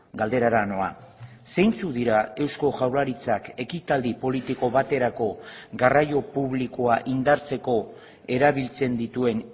galderara noa zeintzuk dira eusko jaurlaritzak ekitaldi politiko baterako garraio publikoa indartzeko erabiltzen dituen